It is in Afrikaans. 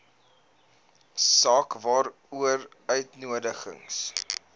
saak waaroor uitnodigings